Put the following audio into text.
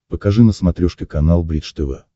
покажи на смотрешке канал бридж тв